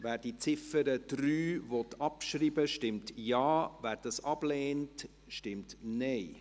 Wer die Ziffer 3 abschreiben will, stimmt Ja, wer dies ablehnt, stimmt Nein.